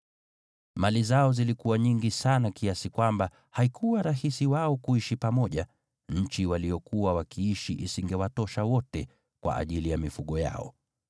Mali zao zilikuwa nyingi sana kiasi kwamba haikuwa rahisi wao kuishi pamoja, nchi waliyokuwa wakiishi isingewatosha wote kwa ajili ya mifugo yao.